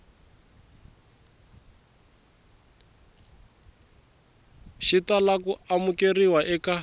xi tala ku amukeriwa eka